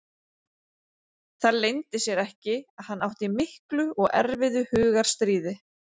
Það leyndi sér ekki að hann átti í miklu og erfiðu hugarstríði.